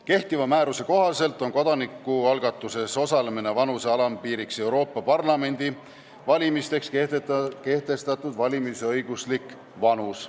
Kehtiva määruse kohaselt on kodanikualgatuses osalemise vanuse alampiir Euroopa Parlamendi valimisteks kehtestatud valimisõiguslik vanus.